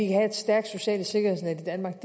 have et stærkt socialt sikkerhedsnet i danmark